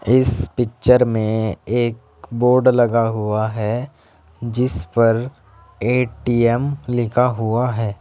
इस पिक्चर में एक बोर्ड लगा हुआ है जिस पर ए_टी_एम लिखा हुआ है।